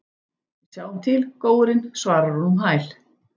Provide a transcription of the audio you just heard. Við sjáum til, góurinn, svarar hún um hæl.